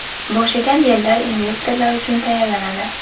Bo‘shagan yerlar investorlar uchun tayyorlanadi.